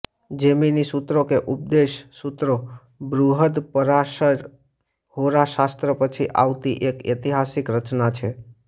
જૈમિની સૂત્રો કે ઉપદેશ સૂત્રો બૃહદપરાશર હોરા શાસ્ત્ર પછી આવતી એક ઐતિહાસીક રચના છે